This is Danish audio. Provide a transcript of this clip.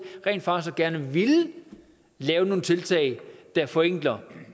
rent faktisk gerne at ville lave nogle tiltag der forenkler og